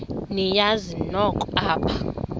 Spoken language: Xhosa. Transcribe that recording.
niyazi nonk apha